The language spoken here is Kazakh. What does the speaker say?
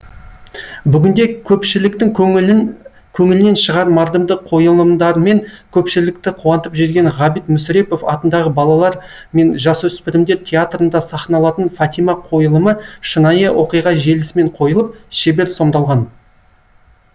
бүгінде көпшіліктің көңілінен шығар мардымды қойылымдарымен көпшілікті қуантып жүрген ғабит мүсірепов атындағы балалар мен жасөспірімдер театрында сахналатын фатима қойылымы шынайы оқиға желісімен қойылып шебер сомдалған